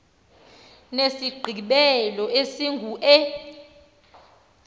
nesigqibelo esingu e